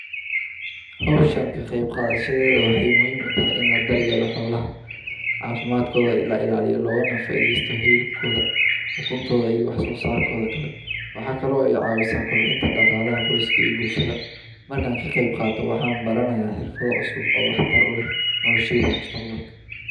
Hawshan kaqebkadhashadeydha waxay muhim utahay in ladaryeelo xoolah , cafimadkodhana lailaliyo lookana faidheysto hilibkodha iyo ukuntodha iyo waxsosarkodha kale, waxa kale oo cawisa kobcinta iyo dhakalaxa qoyska iyo bulshada, markan kaqebkaato waxanbaranaya xirfadha cusub oo waxtar uleh nolosheyda mustaqbalka.